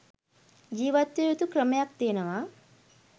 ජිවත් විය යුතු ක්‍රමයක් තියෙනවා